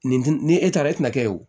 Nin dun ni e taara e tɛna kɛ o